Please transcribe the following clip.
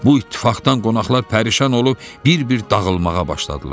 Bu ittifaqdan qonaqlar pərişan olub bir-bir dağılmağa başladılar.